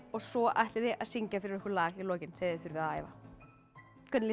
og svo ætlið þið að syngja fyrir okkur lag í lokin sem þið þurfið að æfa hvernig